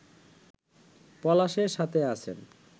পলাশের সাথে আছেন